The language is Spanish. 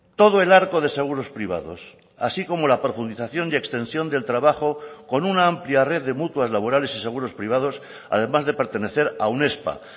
todo el arco de seguros privados así como la profundización y extensión del trabajo con una amplia red de mutuas laborales y seguros privados además de pertenecer a unespa